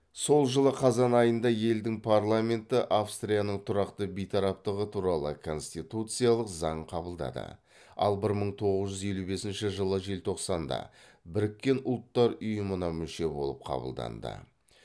сол жылы қазан айында елдің парламенті австрияның тұрақты бейтараптығы туралы конституциялық заң қабылдады ал бір мың тоғыз жүз елу бесінші жылы желтоқсанда біріккен ұлттар ұйымына мүше болып қабылданды